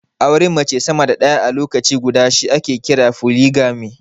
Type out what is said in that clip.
Auren mata sama da ɗaya a lokaci guda shi ake kira foligami.